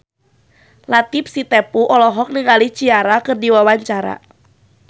Latief Sitepu olohok ningali Ciara keur diwawancara